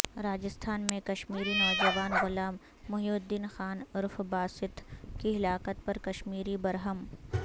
راجستھان میں کشمیری نوجوان غلام محی الدین خان عرف باسط کی ہلاکت پر کشمیری برہم